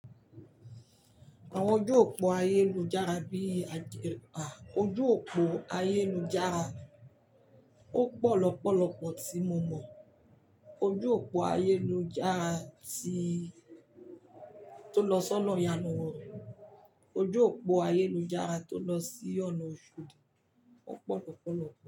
Àwọn ojú òpó ayélujára bíi ajẹ́pa, ojú òpó ayélujára ó pọ̀ lọ́pọ̀lọpọ̀ tí mo mọ̀. Ojú òpó ayélujára tí tó lọ sọ́nà ìyànwò, ojú òpó ayélujára tó lọ sí ọ̀nà Òṣòdì ó pọ̀ lọ́pọ̀lọpọ̀